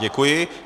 Děkuji.